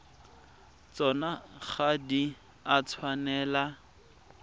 tsona ga di a tshwanela